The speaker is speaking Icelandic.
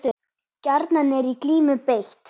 Gjarnan er í glímu beitt.